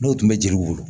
N'o tun bɛ jeliw bolo